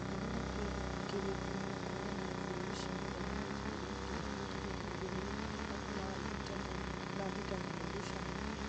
ongerera kĩrĩko gĩa kwonana irio-inĩ cia mũthenya na njambi nginyagia tarĩki igĩrĩ thaa thita na nuthu cia mũthenya